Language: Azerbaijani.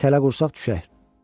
Tələ qursaq düşər.